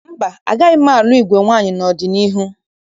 Mba, agaghị m alụ igwe nwaanyị n'ọdịniihu.